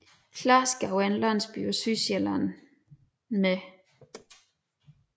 Klarskov er en landsby på Sydsjælland med